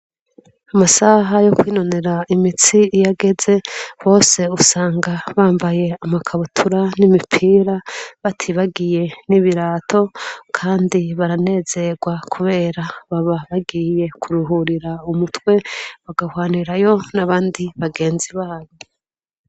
Amasaha yo kwinonera imitsi iyageze bose usanga bambaye amakabutura n'imipira batibagiye n'ibirato kandi baranezerwa kubera baba bagiye kuruhurira umutwe bagahwanirayo n'abandi bagenzi babo.